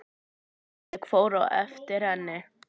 Ég fór á eftir henni.